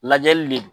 Lajɛli de don